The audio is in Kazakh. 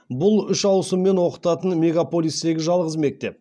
бұл үш ауысыммен оқытатын мегаполистегі жалғыз мектеп